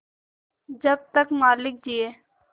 जब तक मालिक जिये